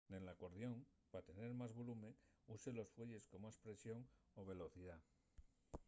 nel acordión pa tener más volume uses los fuelles con más presión o velocidá